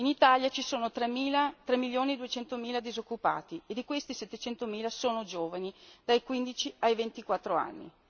In Italia ci sono 3 milioni e 200 mila disoccupati e di questi 700 mila sono giovani dai 15 ai 24 anni.